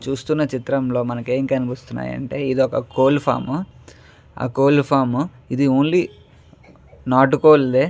చూస్తున్న చిత్రం లో మనకు ఎం కనిపిస్తున్నాయంటే ఇదొక కోళ్ల ఫార్మ్ కోళ్ల ఫార్మ్ ఇది ఓన్లీ నాటుకోళ్లే.